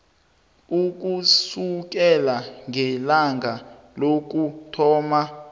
ukusukela ngelanga lokuthoma